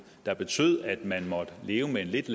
der betød at man måtte leve med en lidt